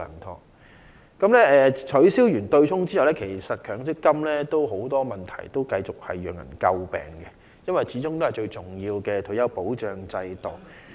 在取消強積金的對沖安排後，仍然有很多問題尚待處理，繼續為人詬病，因為強積金始終是最重要的退休保障之一。